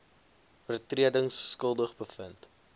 oortredings skuldig bevind